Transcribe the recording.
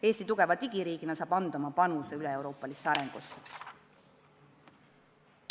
Eesti tugeva digiriigina saab anda oma panuse üleeuroopalisse arengusse.